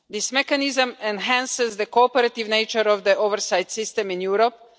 This mechanism enhances the cooperative nature of the oversight system in Europe.